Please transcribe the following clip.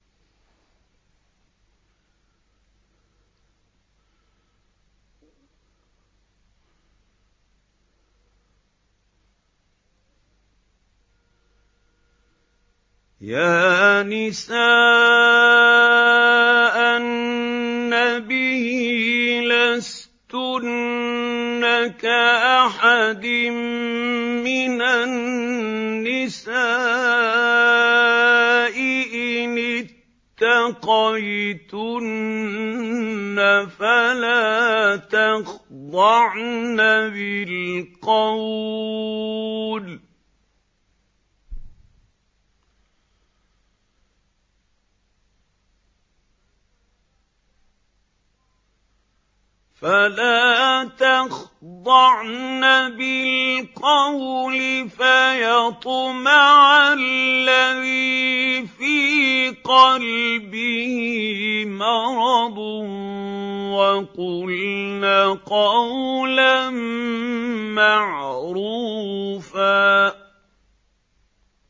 يَا نِسَاءَ النَّبِيِّ لَسْتُنَّ كَأَحَدٍ مِّنَ النِّسَاءِ ۚ إِنِ اتَّقَيْتُنَّ فَلَا تَخْضَعْنَ بِالْقَوْلِ فَيَطْمَعَ الَّذِي فِي قَلْبِهِ مَرَضٌ وَقُلْنَ قَوْلًا مَّعْرُوفًا